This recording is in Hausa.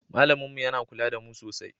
Malamin mu yana kula da mu sosai.